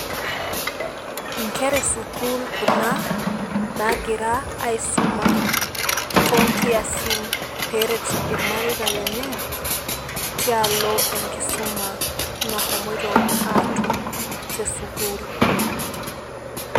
Inkera e school kuna naagira aisuma toonkiasin peeret irmareita lenye tialo enkisuma nahomoito aatum te school